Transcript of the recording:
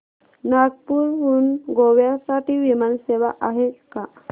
नागपूर हून गोव्या साठी विमान सेवा आहे का